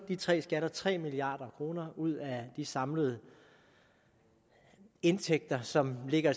de tre skatter tre milliard kroner ud af de samlede indtægter som ligger